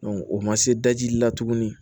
o ma se daji la tugunni